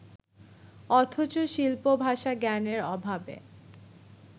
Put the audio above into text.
অথচ শিল্প-ভাষা-জ্ঞানের অভাবে